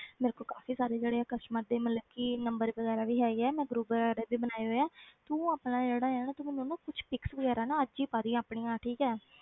ਮੇਰੇ ਕੋਲ ਕਾਫ਼ੀ ਸਾਰੇ ਜਿਹੜੇ ਆ customer ਦੇ ਮਤਲਬ ਕਿ number ਵਗ਼ੈਰਾ ਵੀ ਹੈਗੇ ਆ ਮੈਂ group ਵਗ਼ੈਰਾ ਵੀ ਬਣਾਏ ਹੋਏ ਹੈ ਤੂੰ ਆਪਣਾ ਜਿਹੜਾ ਹੈ ਨਾ ਤੂੰ ਮੈਨੂੰ ਆਪਣਾ ਕੁਛ pics ਵਗ਼ੈਰਾ ਨਾ ਅੱਜ ਹੀ ਪਾ ਦੇਈਂ ਆਪਣੀਆਂ ਠੀਕ ਹੈ